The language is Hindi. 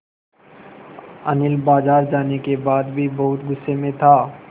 अनिल बाज़ार जाने के बाद भी बहुत गु़स्से में था